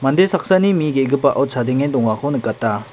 mande saksani mi ge·gipao chadenge dongako nikata.